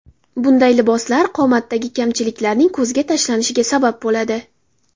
Bunday liboslar qomatdagi kamchiliklarning ko‘zga tashlanishiga sabab bo‘ladi.